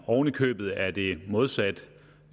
oven i købet er det modsat